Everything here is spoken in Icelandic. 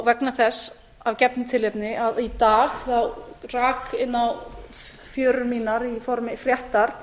vegna þess að gefnu tilefni rak í dag inn á fjörur eina í formi fréttar